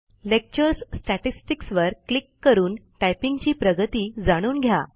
lecture statistics वर click करून typing ची प्रगती जाणून घ्या